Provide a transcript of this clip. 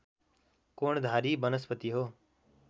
कोणधारी वनस्पति हो